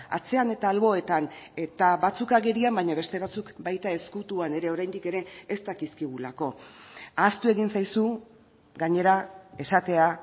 atzean eta alboetan eta batzuk agerian baina beste batzuk baita ezkutuan ere oraindik ere ez dakizkigulako ahaztu egin zaizu gainera esatea